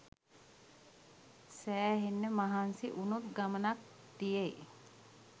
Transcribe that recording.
සෑහෙන්න මහන්සි ‍වුනොත් ගමනක් තියෙයි!